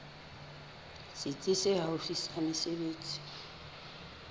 setsi se haufi sa mesebetsi